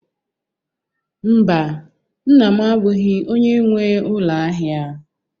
Mba, nna m abụghị onye nwe ụlọ ahịa